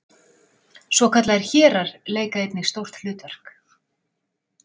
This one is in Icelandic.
Svokallaðir hérar leika einnig stórt hlutverk.